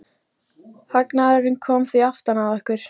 Hagnaðurinn kom því aftan að okkur.